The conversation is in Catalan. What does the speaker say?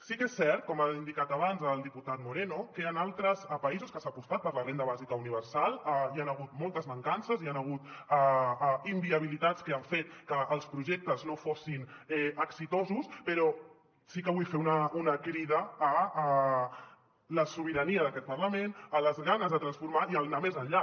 sí que és cert com ha indicat abans el diputat moreno que a països que s’ha apostat per la renda bàsica universal hi han hagut moltes mancances hi han hagut inviabilitats que han fet que els projectes no fossin exitosos però sí que vull fer una crida a la sobirania d’aquest parlament a les ganes de transformar i a anar més enllà